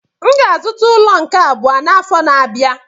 M ga-azụta ụlọ nke abụọ m n'afọ na-abịa.